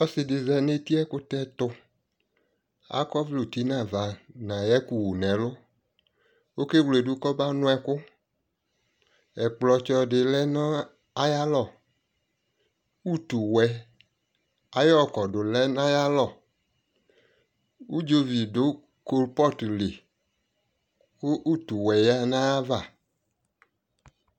Ɔsi dι za nʋ eti ayʋ ɛkʋtɛ tʋ Akɔ ɔvlɛ ʋti nʋ avanʋ ayʋ ɛkʋ wu nʋ ɛlu Okewledʋ kʋ ɔmanʋ ɛkʋ Ɛkplɔ tsɔ dιlɛ nʋ ayʋ alɔ Utu wɛ ayɔ kɔdʋ nʋ ayʋ alɔ Udzovi dʋ kulpɔt lι kʋ utu wɛ ya nʋ ayʋ ava